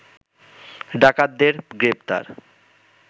ডাকাতদের গ্রেপ্তার